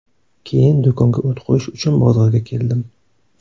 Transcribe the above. Keyin do‘konga o‘t qo‘yish uchun bozorga keldim.